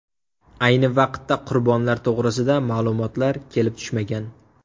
Ayni vaqtda qurbonlar to‘g‘risida ma’lumotlar kelib tushmagan.